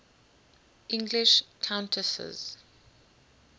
english countesses